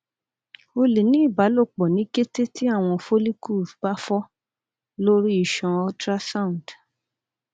o le ni ibalopọ̀ ni kete ti awọn follicles ba fọ lori iṣan ultrasound